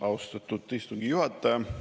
Austatud istungi juhataja!